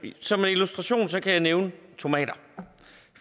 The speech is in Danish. som illustration kan jeg nævne tomater